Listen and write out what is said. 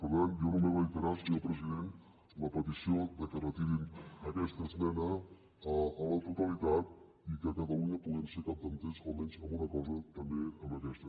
per tant jo només reiterar senyor president la petició que retirin aquesta esmena a la totalitat i que catalunya puguem ser capdavanters almenys en una cosa també en aquesta